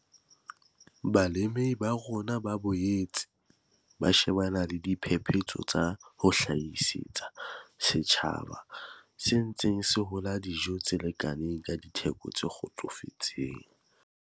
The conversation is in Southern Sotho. Balemi ba rona ba boetse ba shebane le diphephetso tsa ho hlahisetsa setjhaba se ntseng se hola dijo tse lekaneng ka ditheko tse kgotsofatsang.